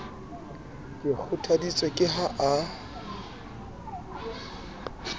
ke kgothaditswe ke ha a